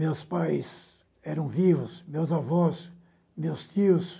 Meus pais eram vivos, meus avós, meus tios.